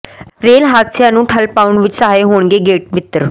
rail ਹਾਦਸਿਆਂ ਨੂੰ ਠੱਲ੍ਹ ਪਾਉਣ ਵਿੱਚ ਸਹਾਈ ਹੋਣਗੇ ਗੇਟ ਮਿੱਤਰ